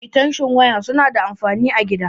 Eatenshin waya suna da anfani a gida.